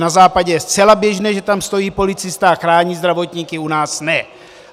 Na Západě je zcela běžné, že tam stojí policista a chrání zdravotníky, u nás ne.